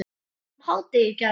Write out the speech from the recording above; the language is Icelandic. um hádegið í gær.